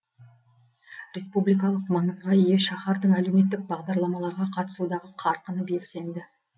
республикалық маңызға ие шаһардың әлеуметтік бағдарламаларға қатысудағы қарқыны белсенді